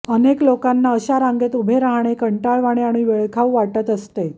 अनेक लोकांना अशा रांगेत उभे राहणे कंटाळवाणे आणि वेळखाऊ वाटत असते